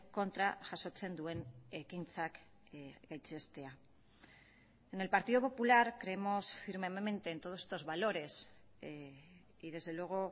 kontra jasotzen duen ekintzak gaitzestea en el partido popular creemos firmemente en todos estos valores y desde luego